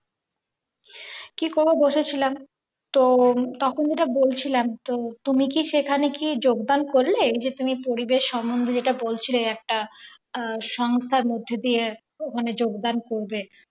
কি করবো বসে ছিলাম তো তখন যেটা বলছিলাম তো তুমি কি সেখানে কি যোগদান করলে যে তুমি পরিবেশ সম্বন্ধে যেটা বলছিলে একটা সংস্থার মধ্যে দিয়ে ওখানে যোগদান করবে।